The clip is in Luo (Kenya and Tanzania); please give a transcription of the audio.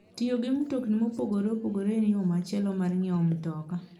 Tiyo gi mtokni mopogore opogore en yo machielo mar ng'iewo mtoka.